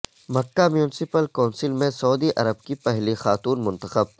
مکہ municipal council میں سعودی عرب کی پہلی خاتون منتخب